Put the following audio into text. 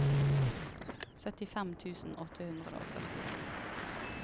syttifem tusen åtte hundre og førtito